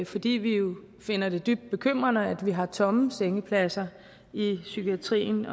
fordi vi jo finder det dybt bekymrende at vi har tomme sengepladser i psykiatrien